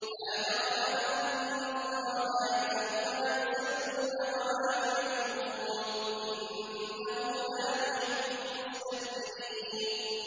لَا جَرَمَ أَنَّ اللَّهَ يَعْلَمُ مَا يُسِرُّونَ وَمَا يُعْلِنُونَ ۚ إِنَّهُ لَا يُحِبُّ الْمُسْتَكْبِرِينَ